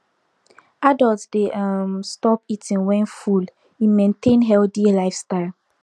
adults dey um stop eating when full e maintain healthy lifestyle